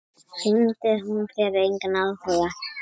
Sýndi hún þér engan áhuga?